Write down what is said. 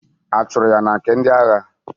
A chụrụ ya na nke ndị agha?